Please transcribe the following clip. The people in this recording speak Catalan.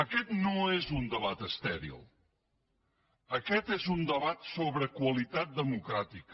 aquest no és un debat estèril aquest és un debat sobre qualitat democràtica